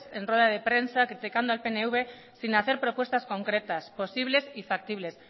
en ruedas de prensa criticando al pnv sin hacer propuestas concretas posibles y factibles